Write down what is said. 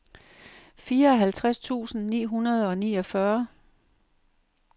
fireoghalvtreds tusind ni hundrede og niogfyrre